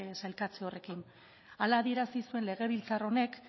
sailkatze horrekin hala adierazi zuen legebiltzar honek